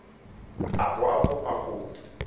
a bo a kopa go